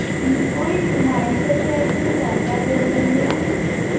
ইম ওই মায়ের সাথে একদিন কথা বলে নিও